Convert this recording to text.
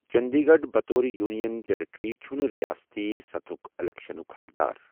چندی گڑھ، بطور union territory چھَنہٕ رِیٲستی سطحٕک الیکشنُک حقدار۔